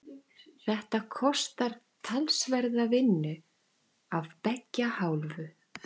Þetta kostar talsverða vinnu af beggja hálfu.